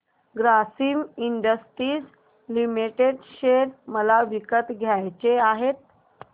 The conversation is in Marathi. ग्रासिम इंडस्ट्रीज लिमिटेड शेअर मला विकत घ्यायचे आहेत